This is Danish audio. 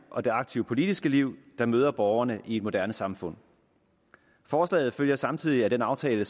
og det aktive politiske liv der møder borgerne i et moderne samfund forslaget følger samtidig af den aftale